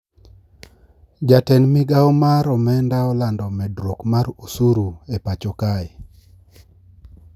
Jatend migao mar omenda olando medruok mar usuru e pacho kae